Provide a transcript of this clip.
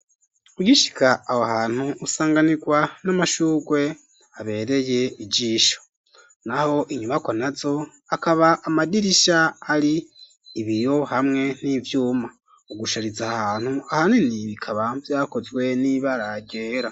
Ugishika aho hantu, usanganirwa n'amashurwe, abereye ijisho; naho inyubakwa nazo, hakaba amadirisha, hari ibiyo, hamwe n'ivyuma; ugushariza aha hantu, ahanini bikaba, vyakozwe n'ibara ryera.